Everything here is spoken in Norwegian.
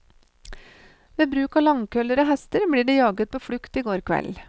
Ved bruk av langkøller og hester ble de jaget på flukt i går kveld.